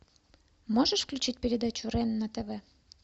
можешь включить передачу рен на тв